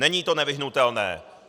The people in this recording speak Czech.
Není to nevyhnutelné.